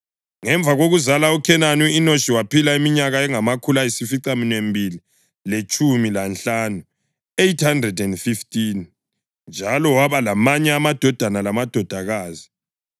Ngemva kokuzala uKhenani, u-Enoshi waphila iminyaka engamakhulu ayisificaminwembili letshumi lanhlanu (815) njalo waba lamanye amadodana lamadodakazi.